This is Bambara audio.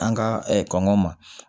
An ka kɔngɔ ma